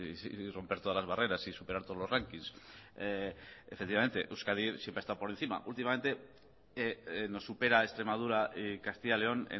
y romper todas las barreras y superar todos los rankings efectivamente euskadi siempre ha estado por encima últimamente nos supera extremadura y castilla y león